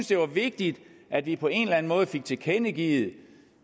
det var vigtigt at vi på en eller anden måde fik tilkendegivet